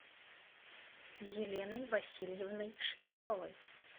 еленой васильевной швецовой